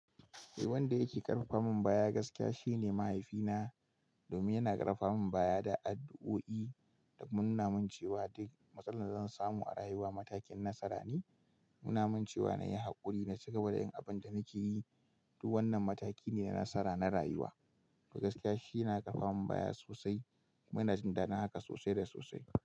Eh wanda yake ƙarfafamin baya gaskiya shine mahaifina. Domin yana ƙarfafamin baya da addu'o'i. Da kuma nuna min cewa duk matsalar da zan samu a rayuwa matakin nasara ne. Nuna min cewa na yi haƙuri na ci gaba da yin abin da nake yi. Duk wannan mataki ne na nasara na rayuwa. To gaskiya shi yana ƙarfafamin baya sosai. Muna jin daɗin haka sosai da sosai.